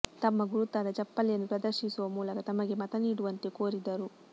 ತಮ್ಮ ಗುರುತಾದ ಚಪ್ಪಲಿಯನ್ನು ಪ್ರದರ್ಶಿಸುವ ಮೂಲಕ ತಮಗೆ ಮತ ನೀಡುವಂತೆ ಕೋರಿದರು